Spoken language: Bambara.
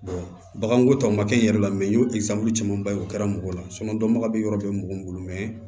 baganko tɔ ma kɛ n yɛrɛ la n y'o camanba ye o kɛra mɔgɔ la dɔnbaga bɛ yɔrɔ bɛɛ mɔgɔ min bolo